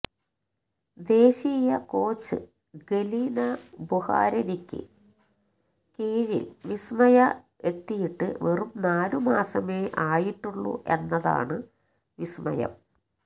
ദേശീയ coach Galina ബുഖാരിനക്കു കീഴില് വിസ്മയ എത്തിയിട്ട് വെറും നാലു മാസമേ ആയിട്ടുള്ളൂ എന്നതാണ് വിസ്മയം